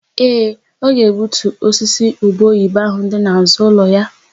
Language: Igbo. Ee, ọ ga-egbutu osisi ubeoyibo áhụ̀ dị n'àzụ́ ụlọ ya.